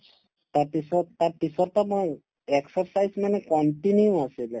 তাৰপিছত তাৰপিছতো মই exercise মানে continue আছিলে